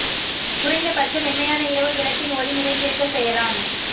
குறைந்த பட்சம் மென்மையான இரவு விளக்கின் ஒளி நிறைந்திருக்கச் செய்யலாம்